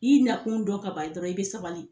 I nakun dɔn ka ban dɔrɔn i bɛ sabali.